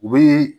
U bɛ